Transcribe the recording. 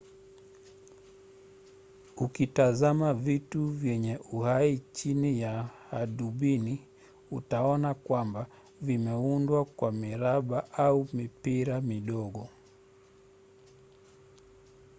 ukitazama vitu vyenye uhai chini ya hadubini utaona kwamba vimeudwa kwa miraba au mipira midogo